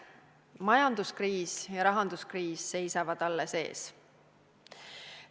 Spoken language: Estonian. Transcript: Majanduskriis ja rahanduskriis seisavad alles ees.